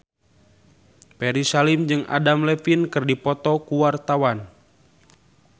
Ferry Salim jeung Adam Levine keur dipoto ku wartawan